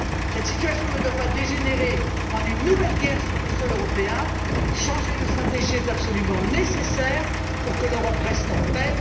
Cette situation ne doit pas dégénérer en une nouvelle guerre sur le sol européen. Changer de stratégie est absolument nécessaire pour que l'Europe reste en paix.